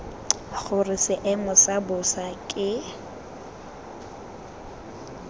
gore seemo sa bosa ke